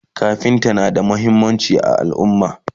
kafinta na da muhimmanci a alumma